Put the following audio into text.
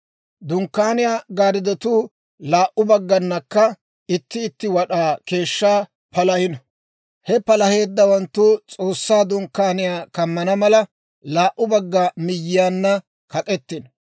Dunkkaaniyaa gaarddotuu laa"u bagganakka itti itti wad'aa keeshshaa palahino; he palaheeddawanttu S'oossaa Dunkkaaniyaa kammana mala, laa"u bagga miyyiyaanna kak'k'etino.